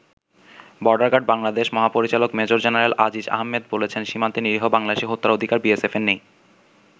Border guard Bangladesh মহাপরিচালক major general Aziz Ahmed বলেছেন, সীমান্তে নিরীহ বাংলাদেশি হত্যার অধিকার বিএসএফের নেই।